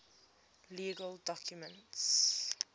legal documents